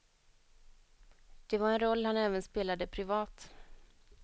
Det var en roll han även spelade privat.